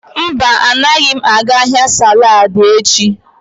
Mba, agaghị m aga ahịa saladi echi.